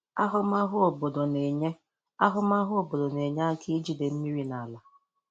Ahụmahụ obodo na-enye Ahụmahụ obodo na-enye aka ijide mmiri n'ala.